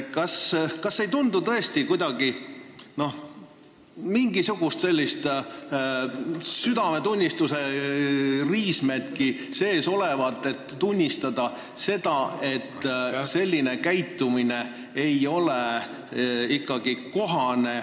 Teil ei tundu tõesti mingisuguseidki südametunnistuse riismeid sees olevat, et tunnistada seda, et selline käitumine ei ole ikkagi kohane ...